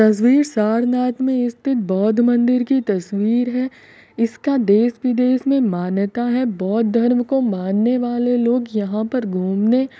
तस्वीर सारनाथ में स्थित बौद्ध मंदिर की तस्वीर है इसका देश विदेश में मान्यता है बौद्ध धर्म को मानने वाले लोग यहां पर घूमने--